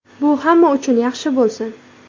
Bu hamma uchun yaxshi bo‘lsin.